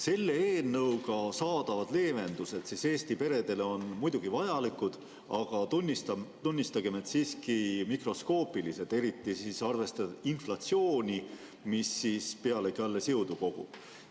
Selle eelnõuga saadavad leevendused Eesti peredele on muidugi vajalikud, aga tunnistagem, et siiski mikroskoopilised, eriti arvestades inflatsiooni, mis pealegi alles jõudu kogub.